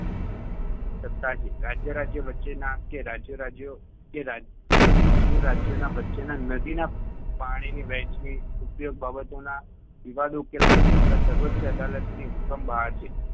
સત્તા છે. રાજ્ય-રાજ્ય વચ્ચેના કે રાજ્યો-રાજ્યો કે રાજ્યો-રાજ્યોના વચ્ચેના નદીના પાણીની વહેંચણી ઉપયોગ બાબતોના વિવાદો ઉકેલવાની સત્તા સર્વોચ્ય અદાલતની હુકમ બહાર છે